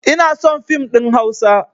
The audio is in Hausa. Inason fim ɗin hausa